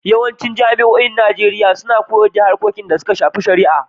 Yawancin jami'oin Najeriya suna koyar da harkokin da suka shafi shari'a.